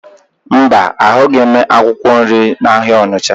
Mba, ahụghị m akwụkwọ nri n'ahịa Ọnịcha